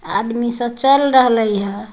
आदमी सब चल रहिया ह।